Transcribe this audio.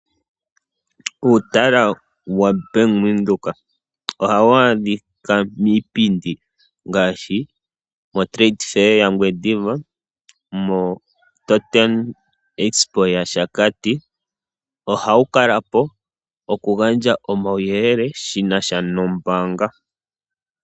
Uutala wombaanga yaVenduka ohawu adhika miipindi ngaashi moTrade fair yaNgwediva, moTotem Expo yaShakati. Ohawu kala po oku gandja omauyelele shinasha nombaanga.